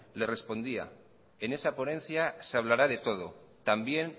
le respondía en esa ponencia se hablará de todo también